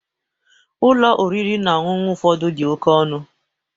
Ụlọ oriri na ọṅụṅụ ụfọdụ dị oke ọnụ.